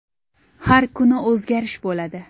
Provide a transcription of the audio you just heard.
Har kuni o‘zgarish bo‘ladi.